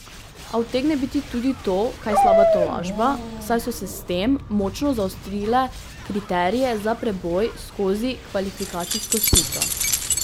A utegne biti tudi to kaj slaba tolažba, saj so s tem močno zaostrile kriterije za preboj skozi kvalifikacijsko sito.